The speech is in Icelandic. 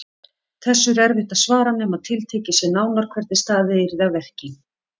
Þessu er erfitt að svara nema tiltekið sé nánar hvernig staðið yrði að verki.